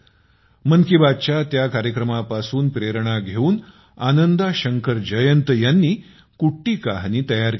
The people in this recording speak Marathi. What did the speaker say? मन की बातच्या त्या कार्यक्रमापासून प्रेरणा घेऊन आनंदा शंकर जयंत यांनी कुट्टी कहानी तयार केली आहे